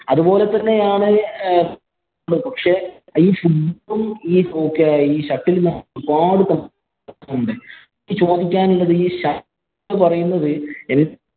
അതുപോലെ തന്നെയാണ് എനിക്ക് ചോദിക്കാനുള്ളത് ഈ shuttle എന്ന് പറയുന്നത്